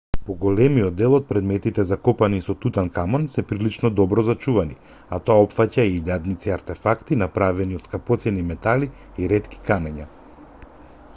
поголемиот дел од предметите закопани со тутанкамон се прилично добро зачувани а тоа опфаќа и илјадници артефакти направени од скапоцени метали и ретки камења